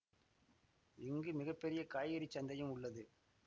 இங்கு மிக பெரிய காய்கறிச் சந்தையும் உள்ளது